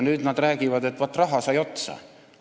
Nüüd nad räägivad, et raha sai otsa.